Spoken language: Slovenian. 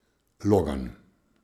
Logan.